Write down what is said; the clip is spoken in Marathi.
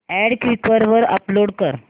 अॅड क्वीकर वर अपलोड कर